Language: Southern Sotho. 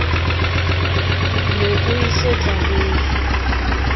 ne o e so tlalehe